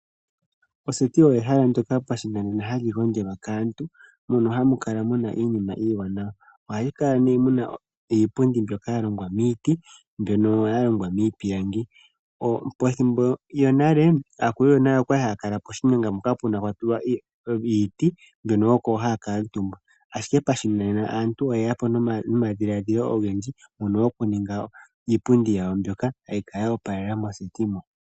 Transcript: Oseti oyo ehala ndyoka pashinanena hamu gondjwa kaantu mono hamu kala mu na iinima iiwanawa. Ohamu kala nee mu na iipundi mbyoka ya longwa miiti, mbyono ya longwa miipilangi. Pethimbo lyonale aakulu yonale oya li haya kala poshinyanga mpono pwa li hapu tulwa iipundi yiiti hono oko haya kuutumbwa, ashike pashinanena aantu oye ya po nomadhiladhilo ogendji mono okuninga iipundi yawo mbyoka hayi kala yo opalela mooseti mo.